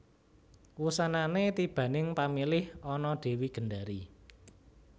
Wusanane tibaning pamilih ana Dewi Gendari